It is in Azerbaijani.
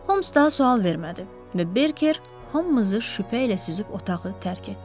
Holmes daha sual vermədi və Berker hamımızı şübhə ilə süzüb otağı tərk etdi.